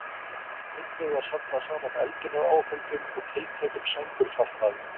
Einnig var safnað saman eldunaráhöldum og tiltækum sængurfatnaði.